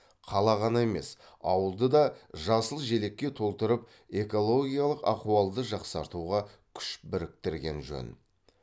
қала ғана емес ауылды да жасыл желекке толтырып экологиялық ахуалды жақсартуға күш біріктірген жөн